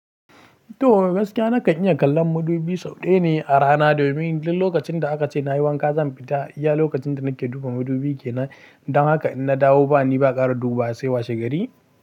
To, gaskiya nakan iya kallon madubi sau ɗaya ne a rana domin duk lokacin da aka ce na yi wanka zan fita, iya lokacin da nake duba madubi kenan. Don haka in na dawo ba ni ba ƙara duba sai washe gari.